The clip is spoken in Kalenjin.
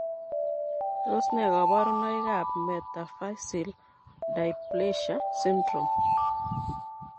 Tos nee koborunoikab metaphyseal dysplasia syndrome?